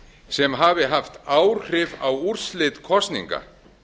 sem hafi haft áhrif á úrslit kosninga